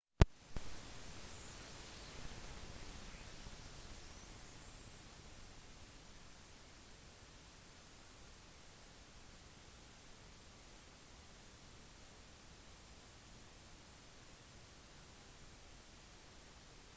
det tradisjonelle middelalderslottet har vært en inspirasjon for fantasi i lang tid og tilkaller frem bilder av jousts banketter og arthurian ridderlighet